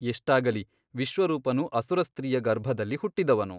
ಎಷ್ಟಾಗಲಿ ವಿಶ್ವರೂಪನು ಅಸುರಸ್ತ್ರೀಯ ಗರ್ಭದಲ್ಲಿ ಹುಟ್ಟಿದವನು.